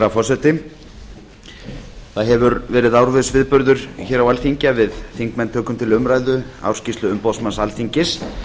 forseti það hefur verið árviss viðburður á alþingi að við þingmenn tökum til umræðu ársskýrslu umboðsmanns alþingis